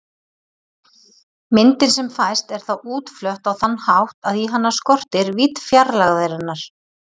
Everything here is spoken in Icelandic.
Myndin sem fæst er þá útflött á þann hátt að í hana skortir vídd fjarlægðarinnar.